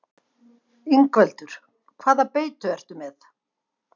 Ingveldur: Hvaða beitu ertu með?